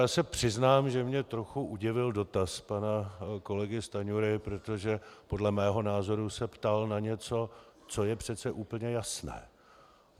Já se přiznám, že mě trochu udivil dotaz pana kolegy Stanjury, protože podle mého názoru se ptal na něco, co je přece úplně jasné.